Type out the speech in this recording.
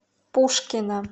пушкино